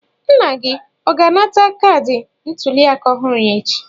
Nna gị ọ ga-anata kaadị ntuliaka ọhụrụ ya echi?